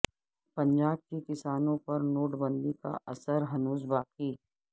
پنجاب کے کسانوں پر نوٹ بندی کا اثر ہنوز باقی